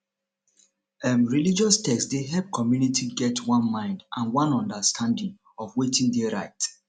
um religius text dey help community get one mind and one understanding of wetin dey right